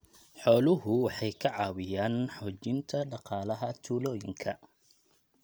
Xooluhu waxay ka caawiyaan xoojinta dhaqaalaha tuulooyinka.